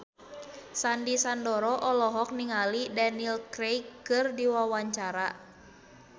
Sandy Sandoro olohok ningali Daniel Craig keur diwawancara